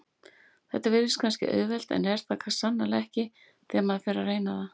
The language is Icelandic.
Þetta virðist kannski auðvelt en er það sannarlega ekki þegar maður fer að reyna það.